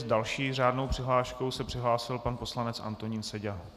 S další řádnou přihláškou se přihlásil pan poslanec Antonín Seďa.